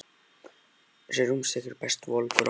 Þessi rúnstykki eru best volg úr ofninum.